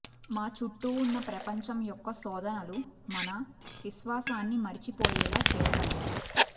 మా చుట్టూ ఉన్న ప్రపంచం యొక్క శోధనలు మన విశ్వాసాన్ని మరచిపోయేలా చేయగలవు